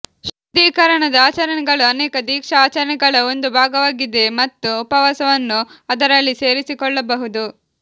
ಶುದ್ಧೀಕರಣದ ಆಚರಣೆಗಳು ಅನೇಕ ದೀಕ್ಷಾ ಆಚರಣೆಗಳ ಒಂದು ಭಾಗವಾಗಿದೆ ಮತ್ತು ಉಪವಾಸವನ್ನು ಅದರಲ್ಲಿ ಸೇರಿಸಿಕೊಳ್ಳಬಹುದು